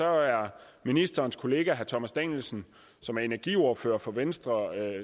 er ministerens kollega herre thomas danielsen som er energiordfører for venstre